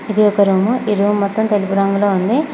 ఇది ఒక రూము . ఈ రూమ్ మొత్తం తెలుపు రంగులో ఉంది.